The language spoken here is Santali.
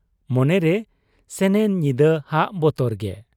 ᱢᱚᱱᱮᱨᱮ ᱥᱮᱱᱮᱱ ᱧᱤᱫᱟᱹ ᱦᱟᱜ ᱵᱚᱛᱚᱨ ᱜᱮ ᱾